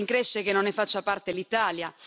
Mi rincresce che non ne faccia parte l'Italia.